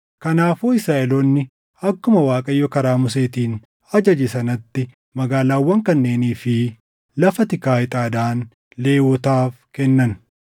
Kanaafuu Israaʼeloonni akkuma Waaqayyo karaa Museetiin ajaje sanatti magaalaawwan kanneenii fi lafa tikaa ixaadhaan Lewwotaaf kennan.